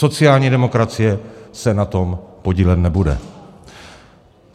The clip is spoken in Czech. Sociální demokracie se na tom podílet nebude.